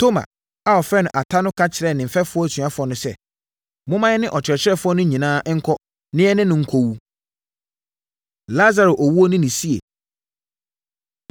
Toma a wɔfrɛ no Ata no ka kyerɛɛ ne mfɛfoɔ asuafoɔ no sɛ, “Momma yɛne Ɔkyerɛkyerɛfoɔ no nyinaa nkɔ na yɛne no nkɔwu.” Lasaro Owuo Ne Ne Sie